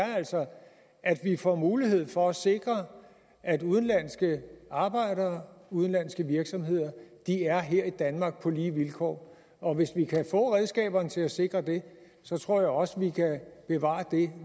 er altså at vi får en mulighed for at sikre at udenlandske arbejdere og udenlandske virksomheder er her i danmark på lige vilkår og hvis vi kan få redskaberne til at sikre det tror jeg også vi kan bevare